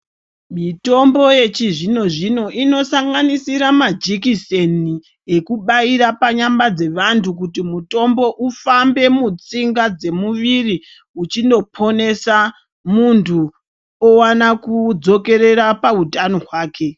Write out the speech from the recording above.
Mitombo yechizvino-zvino inosanganisira majikiseni ekubaira panyama dzevantu kuti mutombo ufambe mutsinga dzemuviri uchindoponesa muntu owane kudzokerera pautano hwake.